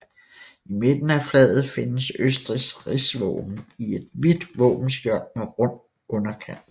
I midten af flaget findes Østrigs rigsvåben i et hvidt våbenskjold med rund underkant